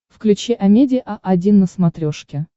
включи амедиа один на смотрешке